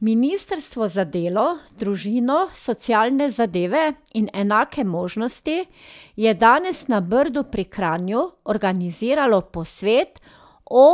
Ministrstvo za delo, družino, socialne zadeve in enake možnosti je danes na Brdu pri Kranju organiziralo posvet o